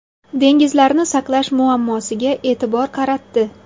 Dengizlarni saqlash muammosiga e’tibor qaratdi.